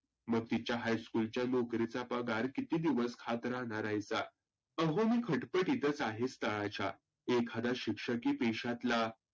मग तीच्या high school चा पगार किती दिवस खात राहनार हाइसा? आहो मी खटपटीत आहे स्थळाच्या एखादा शिक्षकी पेशातला